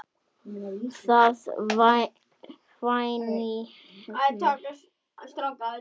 Það hvein í ömmu.